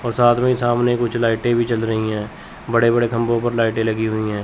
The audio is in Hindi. और साथ में सामने कुछ लाइटे भी जल रही है। बड़े बड़े खबो पर लाइटे लगी हुई है।